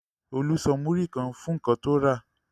Olú san múrí kan fún nǹkan tó rà.